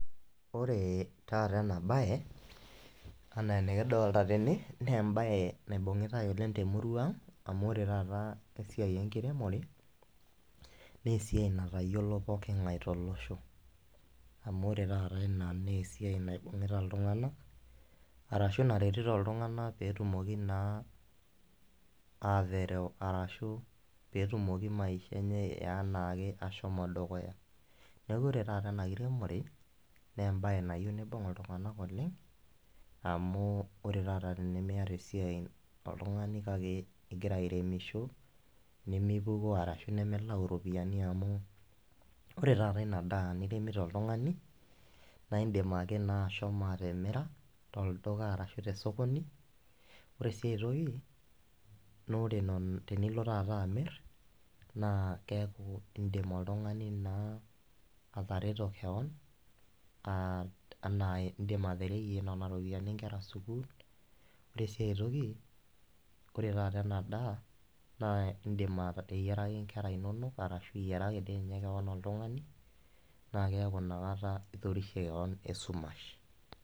ore taata ena baye anaa enikidolta tene naa embaye naibung'itae oleng temurua ang amu ore taata esiai enkiremore naa esiai natayiolo poking'ae tolosho amu ore taata ina naa esiai naibung'ita iltung'anak arashu naretito iltung'anak petumoki naa aterew arashu petumoki maisha enye eanake ashomo dukuya neku ore taata ena kiremore naa embaye nayieu nibung iltung'anak oleng amu ore taata tenimiyata esiai oltung'ani kake igira airemisho nimipukoo arashu nimilau iropiyiani amu ore taata ina daa niremito oltung'ani naindim ake naa ashomo atimira tolduka arashu tesokoni ore sii ae toki naa ore enon tenilo taata amirr naa keeku indim oltung'ani naa atareto kewon uh anaa indim atereyie nana ropiyiani inkera sukuul ore sii ae toki ore taata ena daa naa indim ateyiaraki inkera inonok arashu iyiaraki dii ninye kewon oltung'ani naa keeku inakata itorishe kewon esumash.